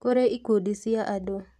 Kũrĩ ikundi cia andũ